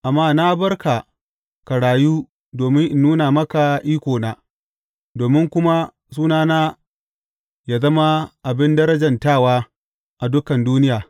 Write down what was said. Amma na bar ka ka rayu domin in nuna maka ikona, domin kuma sunana yă zama abin darajantawa a dukan duniya.